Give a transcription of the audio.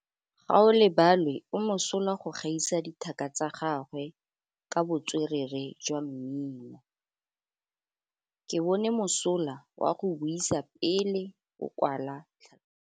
Gaolebalwe o mosola go gaisa dithaka tsa gagwe ka botswerere jwa mmino. Ke bone mosola wa go buisa pele o kwala tlhatlhobô.